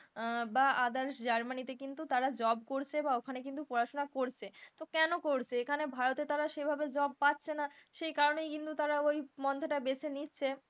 আহ বা others জার্মানিতে কিন্তু তারা job করছে বা ওখানে কিন্তু পড়াশোনা করছে, তো কেনো করছে এখানে ভারতের তারা সেভাবে job পাচ্ছে না, সেই কারণেই কিন্তু তারা ওই মঞ্চ টা বেছে নিচ্ছে,